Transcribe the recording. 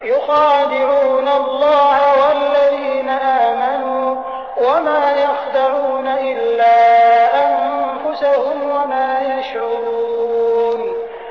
يُخَادِعُونَ اللَّهَ وَالَّذِينَ آمَنُوا وَمَا يَخْدَعُونَ إِلَّا أَنفُسَهُمْ وَمَا يَشْعُرُونَ